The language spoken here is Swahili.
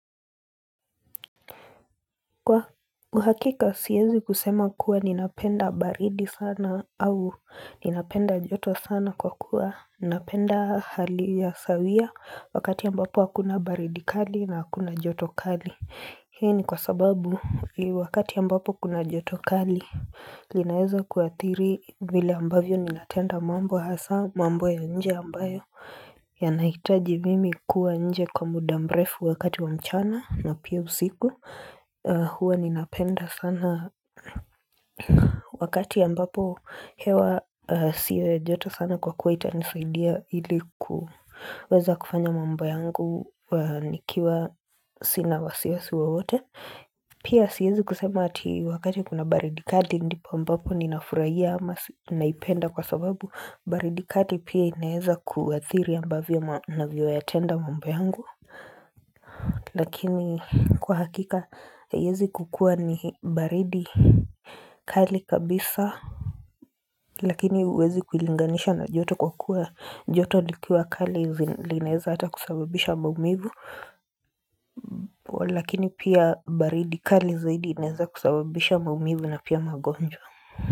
Kwa uhakika siezi kusema kuwa ninapenda baridi sana au ninapenda joto sana kwa kuwa ninapenda hali ya sawia wakati ambapo hakuna baridi kali na hakuna joto kali Hii ni kwa sababu wakati ambapo kuna joto kali linaeza kuathiri vile ambavyo ninatenda mambo hasa mambo ya nje ambayo yanahitaji mimi kuwa nje kwa muda mrefu wakati wa mchana na pia usiku Hua ninapenda sana wakati ambapo hewa si wa jota sana kwa kuwa itanisaidia ilikuweza kufanya mambo yangu nikiwa sina wasiwasi wowote Pia siezi kusema ati wakati kuna baridi kali ndipo ambapo ninafurahia ama naipenda kwa sababu baridi kali pia inaeza kuathiri ambavyo navyoyatenda mambo yangu Lakini kwa hakika haiezi kukua ni baridi kali kabisa Lakini huwezi kuilinganisha na joto kwa kuwa joto likiwa kali linaeza hata kusababisha maumivu wa lakini pia baridi kali zaidi inaeza kusababisha maumivu na pia magonjwa.